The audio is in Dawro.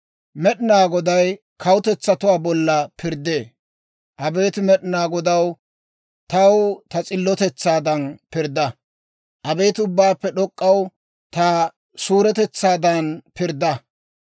Med'inaa Goday kawutetsatuwaa bolla pirddee. Abeet Med'inaa Godaw, taw ta s'illotetsaadan pirdda; Abeet Ubbaappe D'ok'k'aw, ta suuretetsaadan pirddaa.